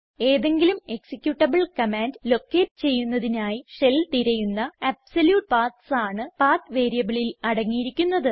ഏതെങ്കിലും executable command locate ചെയ്യുന്നതിനായി shell തിരയുന്ന അബ്സല്യൂട്ട് പാത്സ് ആണ് പത്ത് വേരിയബിളിൽ അടങ്ങിയിരിക്കുന്നത്